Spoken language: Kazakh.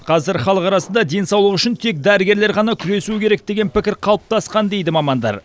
қазір халық арасында денсаулық үшін тек дәрігерлер ғана күресуі керек деген пікір қалыптасқан дейді мамандар